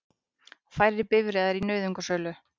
Færri bifreiðar í nauðungarsölu